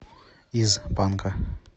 из банка